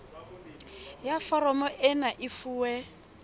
ya foromo ena e fuwe